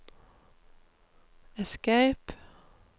escape